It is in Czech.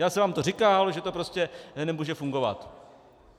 Já jsem vám to říkal, že to prostě nemůže fungovat.